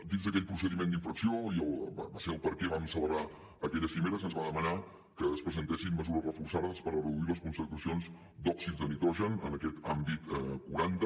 dins d’aquell procediment d’infracció va ser el motiu pel qual vam celebrar aquella cimera se’ns va demanar que es presentessin mesures reforçades per reduir les concentracions d’òxid de nitrogen en aquest àmbit quaranta